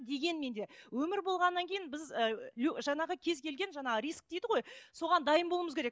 дегенмен де өмір болғаннан кейін біз ііі жаңағы кез келген жаңағы риск дейді ғой соған дайын болуымыз керек